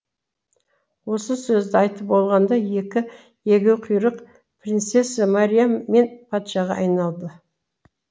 осы сөзді айтып болғанда екі егеуқұйрық принцесса мариям мен патшаға айналды